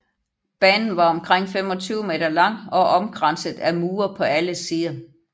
Banen var omkring 25 meter lang og omkranset af mure på alle sider